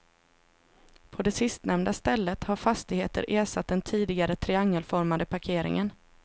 På det sistnämnda stället har fastigheter ersatt den tidigare triangelformade parkeringen.